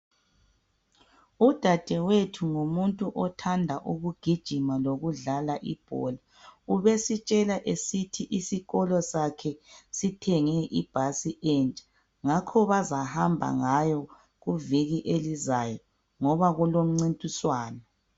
Udadewethu ngumuntu othanda ukugijima lokudlala ibhola. Ubesitshela esithi isikolo sakhe sithenge ibhasi entsha. Ngakho bazahamba ngayo kuviki elizayo ngoba kulomncintiswano.